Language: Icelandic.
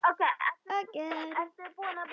Rúmið var bælt.